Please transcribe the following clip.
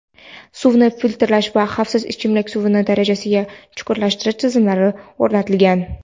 suvni filtrlash va xavfsiz ichimlik suvi darajasigacha chuchuklashtirish tizimlari o‘rnatilgan.